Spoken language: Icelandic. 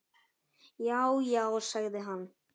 Já, já sagði hann.